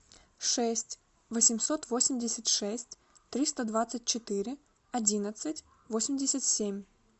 шесть восемьсот восемьдесят шесть триста двадцать четыре одиннадцать восемьдесят семь